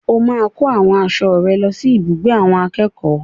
O máa kó àwọn aṣọ rẹ lọ sí ibùgbé àwọn akẹ́kọ̀ọ́.